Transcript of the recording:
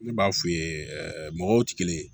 Ne b'a f'i ye mɔgɔw tɛ kelen ye